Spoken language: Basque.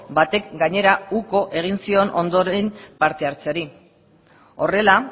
batek gainera uko egin zion ondoren parte hartzeari horrela